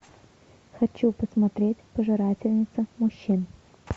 хочу посмотреть пожирательница мужчин